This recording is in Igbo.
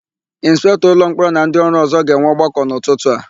Ịnspektọ ụlọmkpọrọ na ndịọrụ ọ̀zọ́ ga-enwe ọgbakọ n'ụtụtụ a.